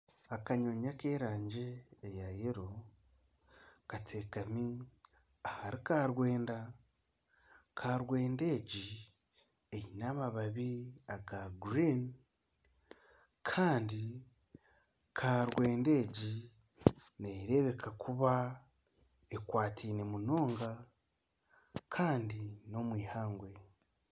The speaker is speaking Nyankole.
Akanyonyi ak'erangi eya yero katekami ahari karwenda, karwenda egi eine amababi aga gurini kandi karwenda egi nerebeka kuba ekwateine munonga Kandi n'omwihangwe.